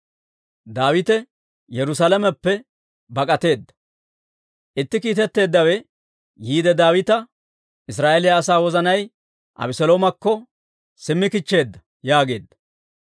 Itti kiitetteeddawe yiide Daawita, «Israa'eeliyaa asaa wozanay Abeseloomakko simmi kichcheedda» yaageedda.